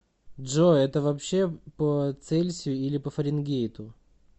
джой это вообще по цельсию или по фаренгейту